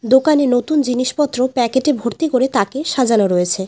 দোকানে নতুন জিনিসপত্র প্যাকেটে ভর্তি করে তাকে সাজানো রয়েছে।